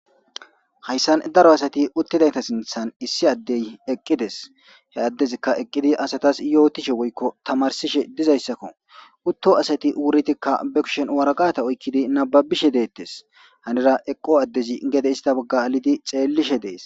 Hayissani darro assati utidayassata sinithani issi adeyi eqidesi he adezikia eqidda assatasi yotishe tamarisishe dizayissako uto assatikka wuriddi baa kusheni wariqqate kababishe detesi.henira eqqo adeyi heni initta bagga xelishe detesi